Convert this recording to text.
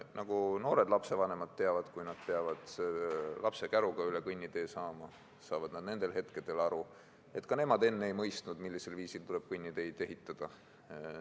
noori lapsevanemaid, kes peavad lapsekäruga üle kõnnitee saama, nendel hetkedel saavad nad aru, et ka nemad enne ei mõistnud, millisel viisil tuleb kõnniteid ehitada.